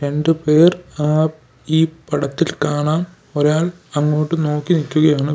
രണ്ടുപേർ ആ ഈ പടത്തിൽ കാണാം ഒരാൾ അങ്ങോട്ട് നോക്കി നിക്കുകയാണ് വേ--